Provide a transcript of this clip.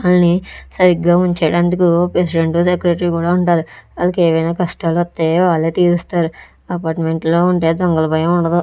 ఆల్ని సరిగ్గా ఉంచడానికి president secretary కూడా ఉంటాలి వాళ్లకేమైనా కష్టాలు వతే వాళ్లే తీరుస్తారు అపార్ట్మెంట్లో లో ఉంటే దొంగల భయం ఉండదు.